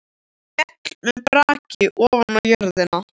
Féll með braki ofan á jörðina.